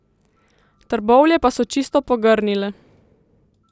Trbovlje pa so čisto pogrnile.